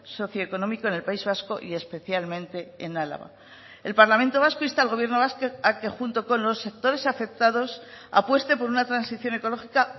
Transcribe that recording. socioeconómico en el país vasco y especialmente en álava el parlamento vasco insta al gobierno vasco a que junto con los sectores afectados apueste por una transición ecológica